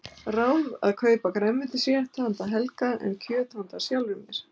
Ráð að kaupa grænmetisrétt handa Helga en kjöt handa sjálfri mér.